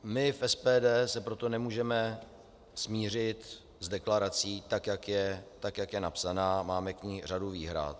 My v SPD se proto nemůžeme smířit s deklarací, tak jak je napsaná, máme k ní řadu výhrad.